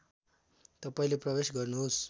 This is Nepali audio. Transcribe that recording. तपाईँले प्रवेश गर्नुहोस्